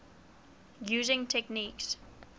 using techniques